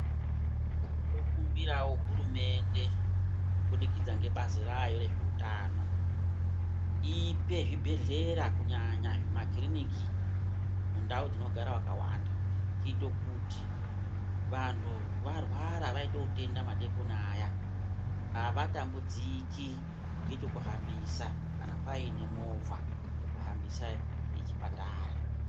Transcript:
Tinokumbirawo hurumende kubudikidza ngebazi ravo rezveutano ipe zvibhehlera kunyanya makirini mundau dzinogara vakawanda kuite kuti vanhu varwara vaite utenda madeikoni aya avatambudziki ngechokuhambisa kana paine movha yekuhambisà yechipatara .